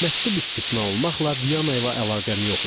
Məktub istisna olmaqla Viyana ilə əlaqəm yox idi.